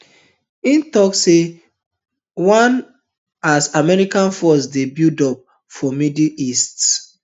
in tok dis one as american forces dey buildup for middle east